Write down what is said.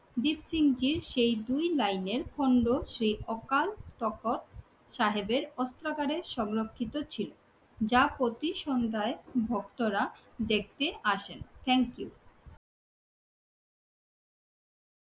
দীপসিং জির সেই দুই লাইনের খণ্ড সেই অকাল তক্ষক সাহেবের অস্ত্রাগারে সংরক্ষিত ছিল, যা প্রতি সন্ধ্যায় ভক্তরা দেখতে আসেন। Thank you.